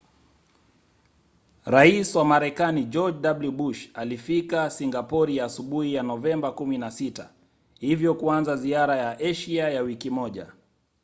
rais wa marekani george w. bush alifika singapori asubuhi ya novemba 16 hivyo kuanza ziara ya asia ya wiki moja